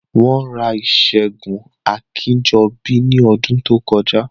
Wọ́n ra ìṣẹ́gun Akínjọbí ní ọdún tó kọjá